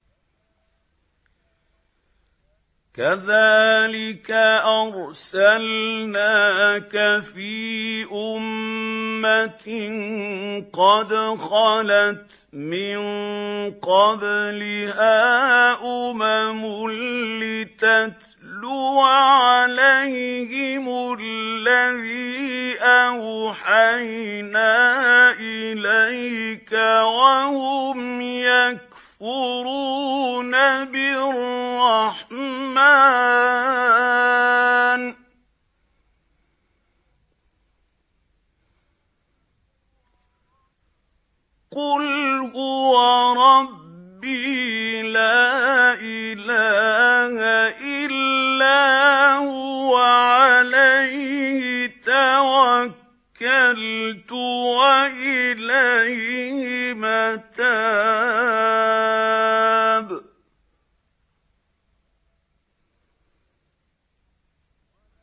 كَذَٰلِكَ أَرْسَلْنَاكَ فِي أُمَّةٍ قَدْ خَلَتْ مِن قَبْلِهَا أُمَمٌ لِّتَتْلُوَ عَلَيْهِمُ الَّذِي أَوْحَيْنَا إِلَيْكَ وَهُمْ يَكْفُرُونَ بِالرَّحْمَٰنِ ۚ قُلْ هُوَ رَبِّي لَا إِلَٰهَ إِلَّا هُوَ عَلَيْهِ تَوَكَّلْتُ وَإِلَيْهِ مَتَابِ